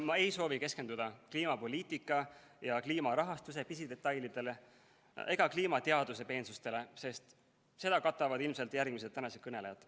Ma ei soovi keskenduda kliimapoliitika ja kliimarahastuse pisidetailidele ega kliimateaduse peensustele, sest seda katavad ilmselt järgmised tänased kõnelejad.